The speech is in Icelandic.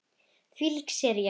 Þvílík sería sagði hún.